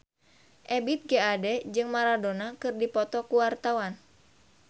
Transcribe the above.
Ebith G. Ade jeung Maradona keur dipoto ku wartawan